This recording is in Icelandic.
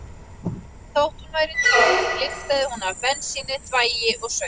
Þótt hún væri tóm lyktaði hún af bensíni, þvagi og saur.